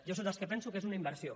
jo sóc dels que penso que és una inversió